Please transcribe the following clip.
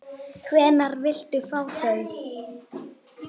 Hvenær viltu fá þau?